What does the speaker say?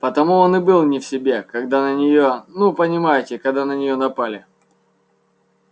потому он и был не в себе когда на нее ну понимаете когда на нее напали